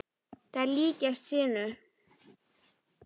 Þær líkjast sinu.